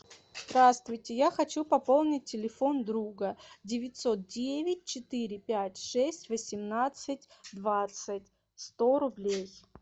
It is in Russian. здравствуйте я хочу пополнить телефон друга девятьсот девять четыре пять шесть восемнадцать двадцать сто рублей